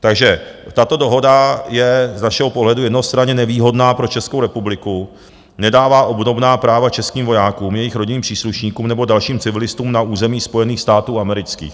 Takže tato dohoda je z našeho pohledu jednostranně nevýhodná pro Českou republiku, nedává obdobná práva českým vojákům, jejich rodinným příslušníkům nebo dalším civilistům na území Spojených států amerických.